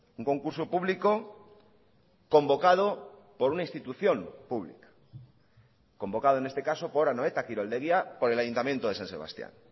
un concurso público convocado por una institución pública convocado en este caso por anoeta kiroldegia por el ayuntamiento de san sebastián